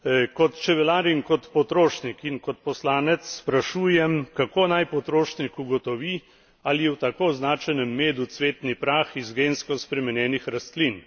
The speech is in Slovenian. Kot čebelar in kot potrošnik in kot poslanec sprašujem, kako naj potrošnik ugotovi, ali je v tako označenem medu cvetni prah iz gensko spremenjenih rastlin.